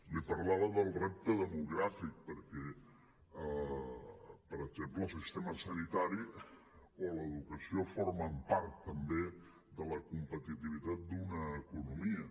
li parlava del repte demogràfic perquè per exemple el sistema sanitari o l’educació formen part també de la competitivitat d’una economia